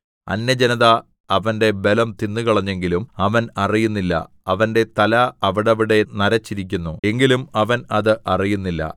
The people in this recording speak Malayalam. അന്യജനത അവന്റെ ബലം തിന്നുകളഞ്ഞെങ്കിലും അവൻ അറിയുന്നില്ല അവന്റെ തല അവിടവിടെ നരച്ചിരിക്കുന്നു എങ്കിലും അവൻ അത് അറിയുന്നില്ല